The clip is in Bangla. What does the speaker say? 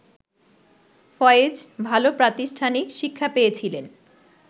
ফয়েজ ভালো প্রাতিষ্ঠানিক শিক্ষা পেয়েছিলেন